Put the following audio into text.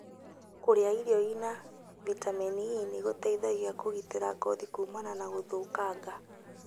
Kũrĩa irio irĩ na vitameni E nĩgũteithagia kũgitĩra ngothi kumana na gũthũkanga